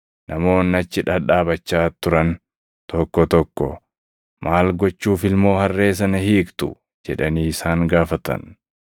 namoonni achi dhadhaabachaa turan tokko tokko, “Maal gochuuf ilmoo harree sana hiiktu?” jedhanii isaan gaafatan.